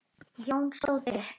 Jói stóð upp.